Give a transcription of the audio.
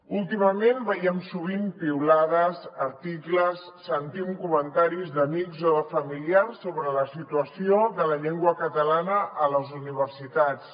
últimament veiem sovint piulades articles sentim comentaris d’amics o de familiars sobre la situació de la llengua catalana a les universitats